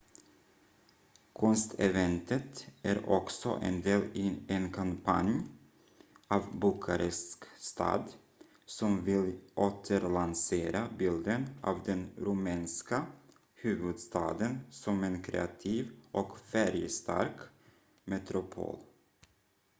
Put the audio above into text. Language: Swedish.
konsteventet är också en del i en kampanj av bukarest stad som vill återlansera bilden av den rumänska huvudstaden som en kreativ och färgstark metropol